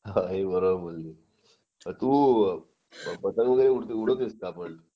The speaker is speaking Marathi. हे बरोबर बोलली तू पतंग वगैरे उडवतेस का पण